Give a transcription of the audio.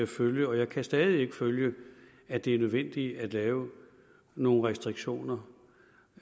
følge og jeg kan stadig ikke følge at det er nødvendigt at lave nogle restriktioner